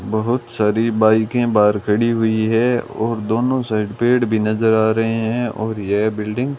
बहोत सारी बाइके बाहर खड़ी हुई है और दोनों साइड पेड़ भी नज़र आ रहे है और यह बिल्डिंग --